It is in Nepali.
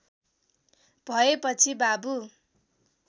भएपछि बाबु